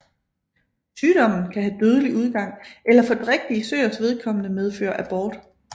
Sygdommen kan have dødelig udgang eller for drægtige søers vedkommende medføre abort